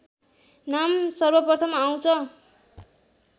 नाम सर्वप्रथम आउँछ